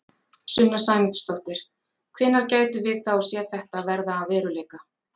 Sunna Sæmundsdóttir: Hvenær gætum við þá séð þetta verða að veruleika?